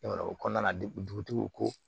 o kɔnɔna na dugutigiw ko